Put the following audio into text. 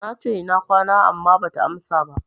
Nace, Ina kwana, amma bata amsa ba.